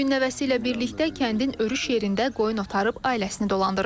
Bu gün nəvəsi ilə birlikdə kəndin örüş yerində qoyun otarıb ailəsini dolandırır.